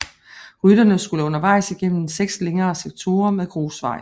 Rytterne skulle undervejs igennem seks længere sektorer med grusvej